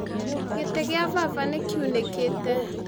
Gĩtĩ gĩa baba nĩ kĩunĩkĩte